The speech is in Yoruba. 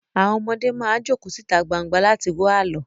Àwọn ọmọdé máa jókòó síta gbangba láti gbọ́ àlọ́